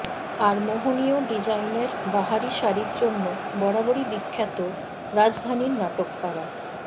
আর মোহনীয় ডিজাইনের বাহারি শাড়ির জন্য বরাবরই বিখ্যাত রাজধানীর নাটকপাড়া